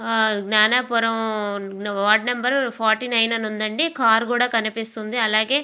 ఆ Gnanapuram ward number forty nine అని ఉంది అండి కార్ కూడా కనిపిస్తుంది అలాగే --